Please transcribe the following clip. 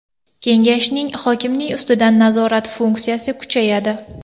Kengashning hokimning ustidan nazorat funksiyasi kuchayadi.